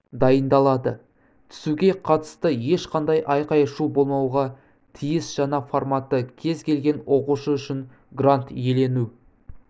дайындалады түсуге қатысты ешқандай айқай-шу болмауға тиіс жаңа форматы кез келген оқушы үшін грант иелену